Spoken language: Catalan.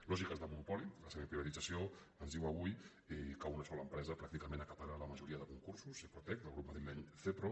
lògiques de monopoli la semiprivatització ens diu avui que una sola empresa pràcticament acapara la majoria de concursos sepro·tec del grup madrileny sepro